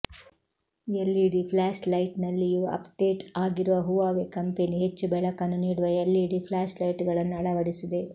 LED ಫ್ಲಾಶ್ಲೈಟ್ನಲ್ಲಿಯೂ update ಆಗಿರುವ Huawei company ಹೆಚ್ಚು ಬೆಳಕನ್ನು ನೀಡುವ ಎಲ್ಇಡಿ ಫ್ಲಾಶ್ಲೈಟ್ಗಳನ್ನು ಅಳವಡಿಸಿದೆ